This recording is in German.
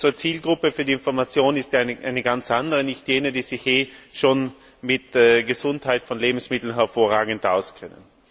Unsere Zielgruppe für die Information ist ja eine ganz andere, nicht jene, die sich ohnehin schon mit der Gesundheit von Lebensmitteln hervorragend auskennt.